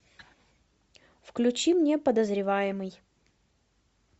включи мне подозреваемый